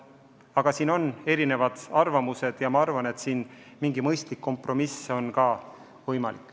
Arvamused selles valdkonnas on erinevad, aga ma usun, et mingi mõistlik kompromiss on täiesti võimalik.